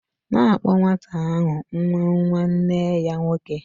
...na akpo nwata ahu nwa nwa nee ya nwoke